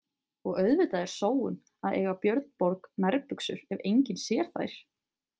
Og auðvitað er sóun að eiga Björn Borg nærbuxur ef enginn sér þær.